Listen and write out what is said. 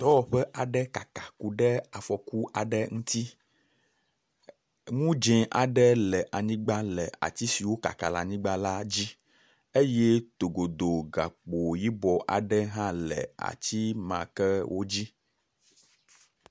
Dɔwɔƒe aɖe kaka kuɖe afɔku aɖe ŋuti, nu dzẽ aɖe le anyigba le ati si wokaka le anyigba la dzi eye togodo gakpo yibɔ aɖe hã le ati ma ke wodzi.